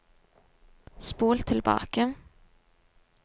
spol tilbake